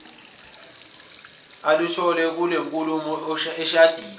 aluthole kulenkulumo eshadini